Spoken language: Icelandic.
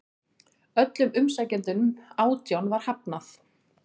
Öllum umsækjendunum átján var hafnað